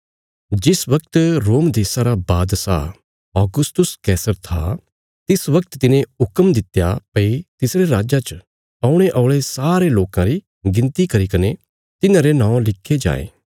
जिस बगत रोम देशा रा बादशाह औगस्तुस था तिस बगत तिने ये हुक्म दित्या भई तिसरे राज्जा च औणे औल़े सारे लोकां री गिणती करीने तिन्हारे नौं लिखे जायें